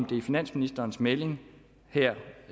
det er finansministerens melding her